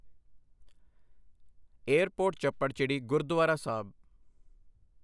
airport Chapparchiri Gurdwara Sahib